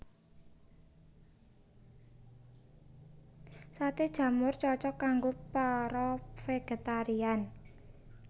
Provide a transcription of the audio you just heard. Saté jamur cocok kanggo para végétarian